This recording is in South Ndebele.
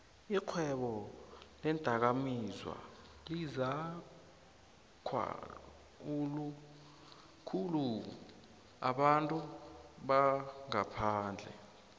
ixhwebo leendakamizwalizakhulu nabantu bangaphandle